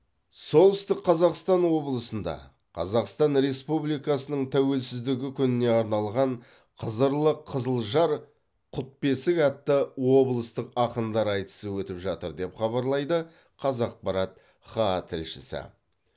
солтүстік қазақстан облысында қазақстан республикасының тәуелсіздігі күніне арналған қызырлы қызылжар құт бесік атты облыстық ақындар айтысы өтіп жатыр деп хабарлайды қазақпарат хаа тілшісі